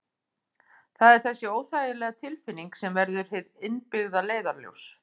Það er þessi óþægilega tilfinning sem verður hið innbyggða leiðarljós.